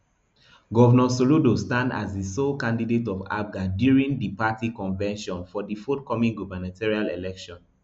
govnor soludo stand as di sole candidate of apga during di party convention for di forthcoming gubernatorial election